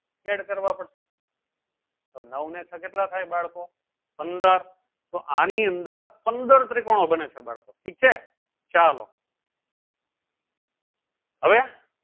add કરવા પડશે તો નવ ને છ કેટલા થાય બાળકો? પંદર તો અણી અંદર પંદર ત્રીકોનો બને છે બાળકો ઠીક છે. ચાલો હવે